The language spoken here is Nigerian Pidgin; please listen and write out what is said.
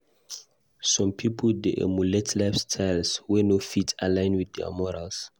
Some pipo dey emulate lifestyles wey no fit align with their morals.